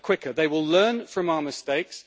They will learn from our mistakes.